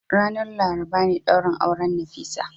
Ranar Laraba ne daurin auren Nafisat.